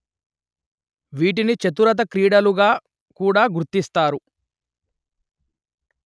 వీటిని చతురత క్రీడలుగా కూడా గుర్తిస్తారు